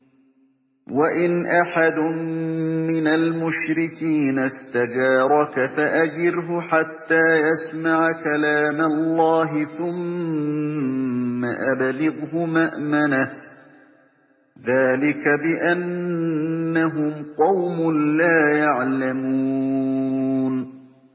وَإِنْ أَحَدٌ مِّنَ الْمُشْرِكِينَ اسْتَجَارَكَ فَأَجِرْهُ حَتَّىٰ يَسْمَعَ كَلَامَ اللَّهِ ثُمَّ أَبْلِغْهُ مَأْمَنَهُ ۚ ذَٰلِكَ بِأَنَّهُمْ قَوْمٌ لَّا يَعْلَمُونَ